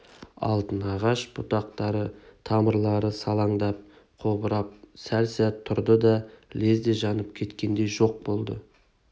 алтын ағаш бұтақтары тамырлары салаңдап қобырап сәл сәт тұрды да лезде жанып кеткендей жоқ болды